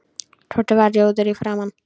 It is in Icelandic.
Tóti varð rjóður í framan.